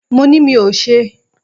Mo ni mí ò ṣe.